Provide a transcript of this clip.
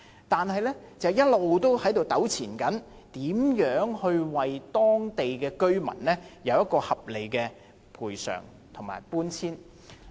但是，一直糾纏的問題是如何為當地居民制訂合理賠償和搬遷計劃。